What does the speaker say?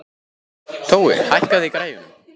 Tói, hækkaðu í græjunum.